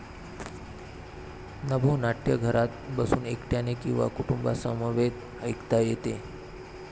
नभोनाट्य घरात बसून एकट्याने किंवा कुटुंबासमवेत ऐकता येते.